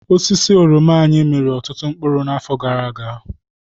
Osisi oroma anyị miri ọtụtụ mkpụrụ n'afọ gara aga.